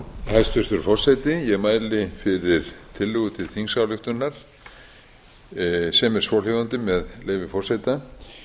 hæstvirtur forseti ég mæli fyrir tillögu til þingsályktunar sem er svohljóðandi með leyfi forseta